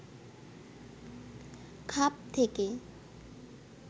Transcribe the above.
খাপ থেকে